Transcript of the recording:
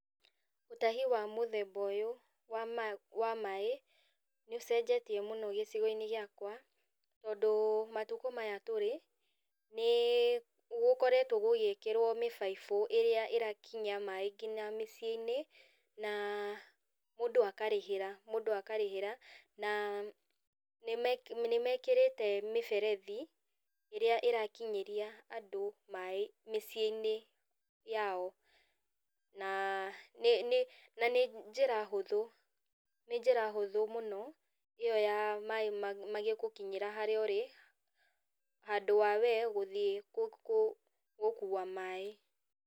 Ũtahi wa mũthemba ũyũ wa maaĩ, nĩũcenjetie mũno gĩcigo-inĩ gĩakwa, tondũ matukũ maya tũrĩ, nĩgũkoretwo gũgĩkĩrwo mĩbaibũ ĩrĩa ĩrakinyia maaĩ nginya mĩciĩ-inĩ, na mũndũ akarĩhĩra. na nĩmekĩrĩte mĩberethi ĩrĩa ĩrakinyĩria andũ maaĩ mĩciĩ-inĩ yao, na nĩ njĩra hũthũ, nĩ njĩra hũthũ mũno, ĩyo ya maaĩ magĩgũkinyĩra harĩa ũrĩ, handũ ha wee gũthiĩ gũkua maaĩ.